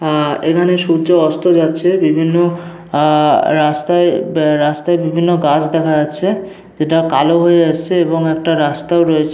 এইখানে সূর্য অস্ত যাচ্ছে বিভিন্ন অ্যা- রাস্তায় রাস্তায় বিভিন্ন গাছ দেখা যাচ্ছে যেটা কালো হয়ে এসেছে এবং একটা রাস্তাও রয়েছে।